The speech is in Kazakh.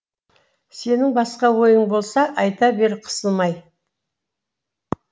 сенің басқа ойың болса айта бер қысылмай